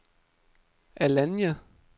Alanya